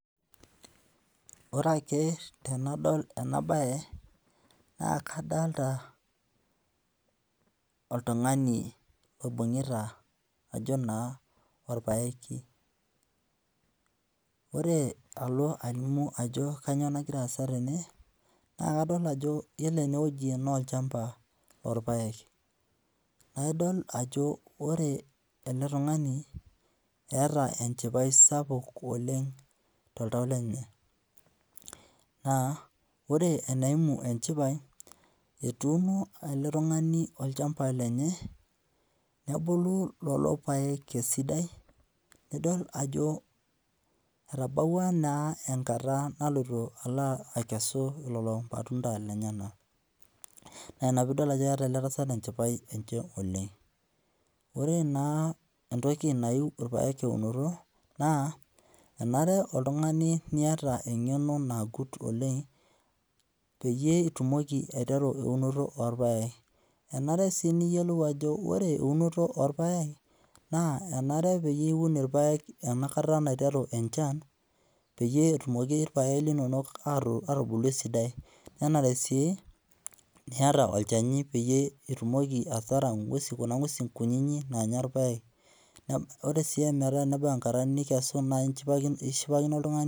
Ore ake tenadol ena bae naa kadolita oltung'ani oibung'ita ajo naa orpaeki. Ore alo alimu ajo kanyoo nagira aasa tene naa kadol ajo iyiolo enewueji naa olchamba lorpaek. Naidol ajo ore tung'ani eeta enchipai sapuk oleng toltau lenye. Naa ore eneimu enchipai etuuno ele tung'ani olchamba lenye nebulu lelo paek esidai nidol ajo etabawua naa enkata naloito alo aikesu lelo matunda lenyenak. Naa ina piidol ajo eeta ele tasat enchipai oleng. Ore naa entoki nayieu irpaek eunoto naa enare niata oltung'ani eng'eno nagut oleng peyie itumoki aiteru eunoto orpaek. Enare sii niyiolou ajo ore eunoto orpaek naa enare piun irpaek enakata naiteru enchan peyie etumoki irpaek linonok aatubulu esidai. Nenare sii niata olchani peyie itumoki ataara ng'wesi kuna ng'wesi kunyinyi naanya irpaek. Ore sii metabau enkata nikesu naa ishipakino oltung'ani